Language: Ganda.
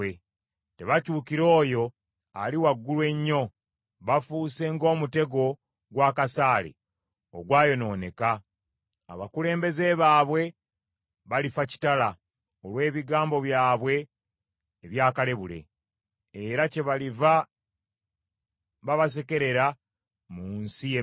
Tebakyukira oyo Ali Waggulu Ennyo; bafuuse ng’omutego gw’akasaale ogwayonooneka; abakulembeze baabwe balifa kitala, olw’ebigambo byabwe ebya kalebule. Era kyebaliva babasekerera mu nsi y’e Misiri.”